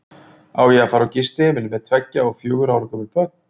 Á ég að fara á gistiheimili með tveggja og fjögurra ára gömul börn?